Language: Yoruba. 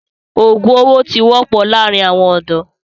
òògùn owó ti wọ́pọ̀ láàrin àwọn ọ̀dọ́.